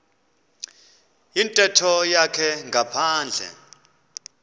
yintetho yakhe ngaphandle